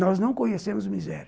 Nós não conhecemos miséria.